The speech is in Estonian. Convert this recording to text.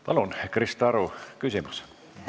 Palun, Krista Aru, küsimus!